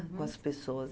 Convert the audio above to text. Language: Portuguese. Com as pessoas.